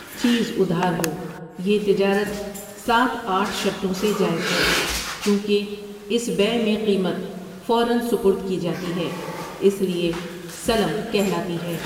چیز ادھار ہو، یہ تجارت سات آٹھ شرطوں سے جائز ہے، چونکہ اس بیع میں قیمت فورًا سپرد کی جاتی ہے اس لیے سلم کہلاتی ہے۔